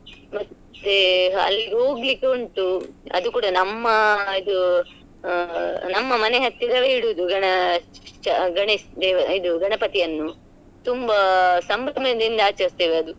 ಮತ್ತೆ ಅಲ್ಲಿಹೋಗ್ಲಿಕ್ಕೆ ಉಂಟು ಅದು ಕೂಡ ನಮ್ಮ ಇದು ಅ ನಮ್ಮ ಮನೆ ಹತ್ತಿರವೆ ಇಡೋದು ಗಣ~ ಚ ಗಣೇಶ ದೇ~ ಇದು ಗಣಪತಿಯನ್ನು ತುಂಬಾ ಸಂಭ್ರಮದಿಂದ ಆಚರಿಸ್ತೇವೆ ಅದು.